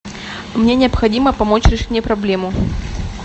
мне необходимо помочь решить мне проблему